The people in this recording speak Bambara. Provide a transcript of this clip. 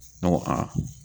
Ne ko a